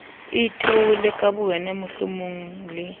itoile ka bowena mohlomong le